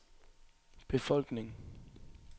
befolkning